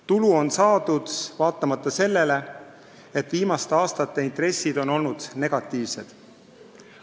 Tulu on saadud vaatamata sellele, et viimaste aastate intressid on olnud negatiivsed.